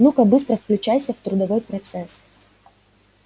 ну-ка быстро включайся в трудовой процесс